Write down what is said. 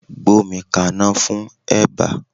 Gbómi kaná fún eba!